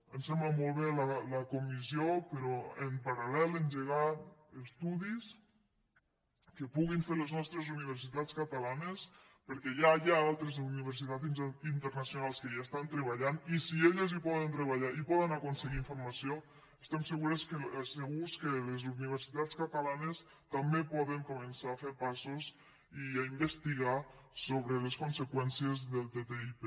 ens sembla molt bé la comissió però en paralpuguin fer les nostres universitats catalanes perquè ja hi ha altres universitats internacionals que hi estan treballant i si elles hi poden treballar i poden aconseguir informació estem segurs que les universitats catalanes també poden començar a fer passos i a investigar sobre les conseqüències del ttip